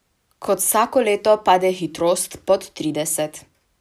Kot vsako leto pade hitrost pod trideset.